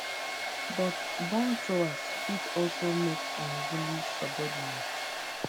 but bombthrowers fit also make unruly subordinates